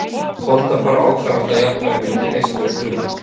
Holdafar ákvarðast af jafnvæginu milli neyslu og bruna.